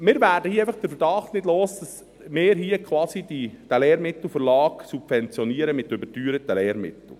Wir werden einfach den Verdacht nicht los, dass wir hier quasi den Lehrmittelverlag mit überteuerten Lehrmitteln subventionieren.